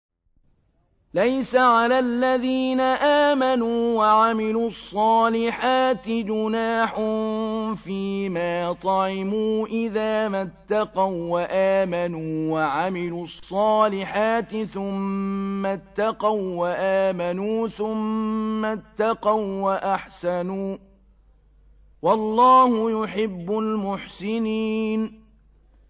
لَيْسَ عَلَى الَّذِينَ آمَنُوا وَعَمِلُوا الصَّالِحَاتِ جُنَاحٌ فِيمَا طَعِمُوا إِذَا مَا اتَّقَوا وَّآمَنُوا وَعَمِلُوا الصَّالِحَاتِ ثُمَّ اتَّقَوا وَّآمَنُوا ثُمَّ اتَّقَوا وَّأَحْسَنُوا ۗ وَاللَّهُ يُحِبُّ الْمُحْسِنِينَ